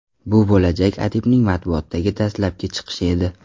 Bu bo‘lajak adibning matbuotdagi dastlabki chiqishi edi.